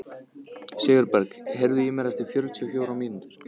Sigurberg, heyrðu í mér eftir fjörutíu og fjórar mínútur.